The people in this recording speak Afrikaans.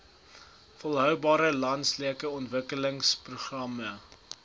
volhoubare landelike ontwikkelingsprogram